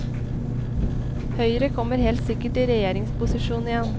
Høyre kommer helt sikkert i regjeringsposisjon igjen.